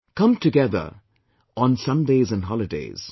Come together on Sundaysand Holidays